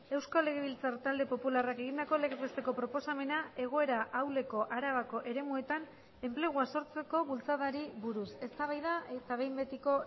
euskal legebiltzar talde popularrak egindako legez besteko proposamena egoera ahuleko arabako eremuetan enplegua sortzeko bultzadari buruz eztabaida eta behin betiko